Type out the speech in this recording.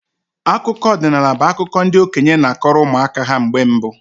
Akụkọ ọdinaala bu akụkọ ndị okenye n'akọrọ ụmụ aka ha na mgbe mbụ.